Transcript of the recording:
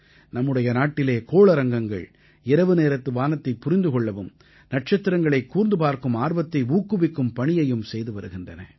நம்முடைய நாட்டிலே கோளரங்கங்கள் இரவுநேரத்து வானத்தைப் புரிந்து கொள்ளவும் நட்சத்திரங்களைக் கூர்ந்து பார்க்கும் ஆர்வத்தை ஊக்குவிக்கும் பணியையும் செய்து வருகின்றன